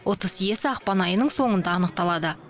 ұтыс иесі ақпан айының соңында анықталады